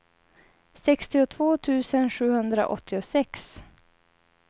sextiotvå tusen sjuhundraåttiosex